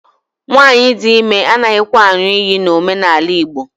Nwaanyị di ime anaghịkwa aṅụ iyi n'omenala Igbo